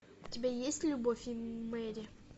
у тебя есть любовь и мэри